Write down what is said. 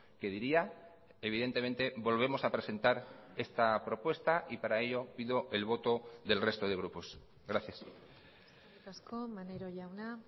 que diría evidentemente volvemos a presentar esta propuesta y para ello pido el voto del resto de grupos gracias eskerrik asko maneiro jauna